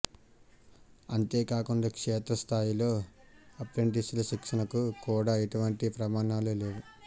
అంతేకాకుండా క్షేత్రస్థాయిలో అప్రెంటిస్ల శిక్షణ కు కూడా ఎటువంటి ప్రమాణాలు లేవు